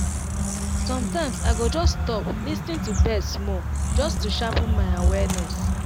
sometimes i go just stop lis ten to birds small just to sharpen my awareness.